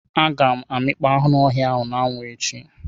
Aga m amịkpọ anụ ọhịa ahu na anwu echi.